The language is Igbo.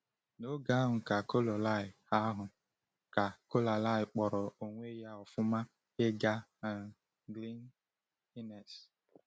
N’oge ahụ ka Coralie ahụ ka Coralie kpọrọ onwe ya ọ̀fụma ịga um Glen Innes.